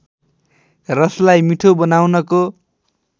रसलाई मिठो बनाउनको